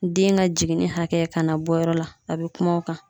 Den ka jiginni hakɛ kana bɔ yɔrɔ la a bɛ kuma o kan.